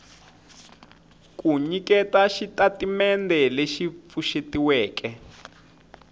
ku nyiketa xitatimendhe lexi pfuxetiweke